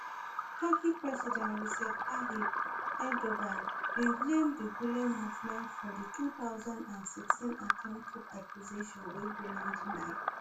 turkey president recep tayyip erdogan bin blame di gulen movement for di two thousand and sixteen attempt coup accusation wey gulen deny